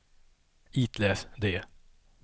itläs det